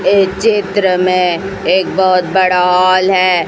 इस चित्र में एक बहोत बड़ा हॉल है।